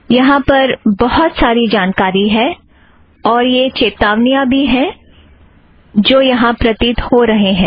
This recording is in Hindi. यहाँ पर बहुत सारी जानकारी है और यह चेतावनियाँ भी हैं जो यहाँ प्रतीत हो रहें हैं